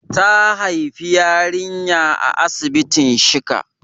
Ta haifi yarinya a asibitin shika.